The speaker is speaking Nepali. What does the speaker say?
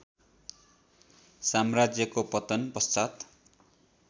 साम्राज्यको पतन पश्चात